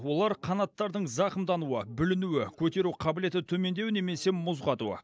олар қанаттардың зақымдануы бүлінуі көтеру қабілеті төмендеуі немесе мұз қату